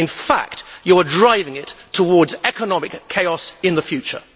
In fact, you are driving it towards economic chaos in the future.